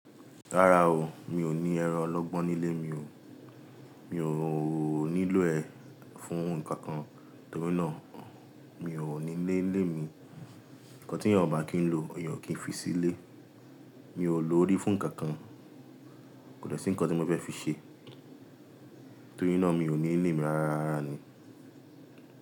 Rárá o, mi ò ní ẹran ọlọ́gbọ́n nílé mi o. Mi ò, ò nílò ẹ fún ǹkan kan, torí náà mi ò ní lé lé mi. Ǹkan tí èèyàn bá kín lo, èèyàn kì í fi sílé. Mi ò lò ó rí fún ǹkan kan. Kò dẹ́ṣìn ǹkan tí mo fẹ́ fi ṣe, torí náà mi ò ní nilé e mi rárá ni.